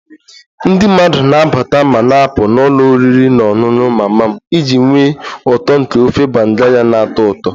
Ndị mmadụ na-abata ma na-apụ n'ụlọ oriri na ọṅụṅụ mama m iji nwee uto nke ofe banga ya na-atọ ụtọ